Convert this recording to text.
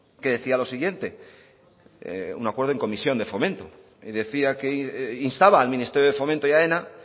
que decía lo siguiente un acuerdo en comisión de fomento y decía que instaba al ministerio de fomento y aena